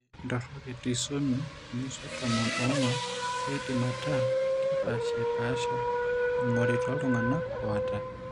Ore intorok etrisomy emusa tomon oong'uan keidim ataa kepaashipaasha eing'ori tooltung'anak oata.